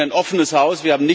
Wir sind ein offenes Haus.